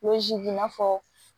i n'a fɔ